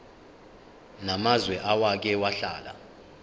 namazwe owake wahlala